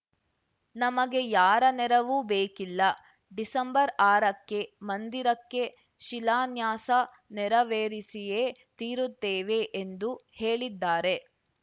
ನಮಗೆ ಯಾರ ನೆರವೂ ಬೇಕಿಲ್ಲ ಡಿಸೆಂಬರ್ಅರಕ್ಕೆ ಮಂದಿರಕ್ಕೆ ಶಿಲಾನ್ಯಾಸ ನೆರವೇರಿಸಿಯೇ ತೀರುತ್ತೇವೆ ಎಂದು ಹೇಳಿದ್ದಾರೆ